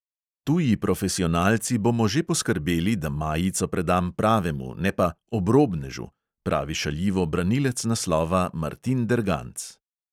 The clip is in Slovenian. Tuji profesionalci bomo že poskrbeli, da majico predam pravemu, ne pa "obrobnežu", pravi šaljivo branilec naslova martin derganc.